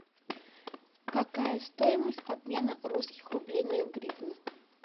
какая стоимость обмена русских рублей на гривны